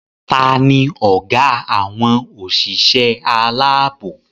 Tani ọgá àwọn òṣìṣẹ́ aláàbò?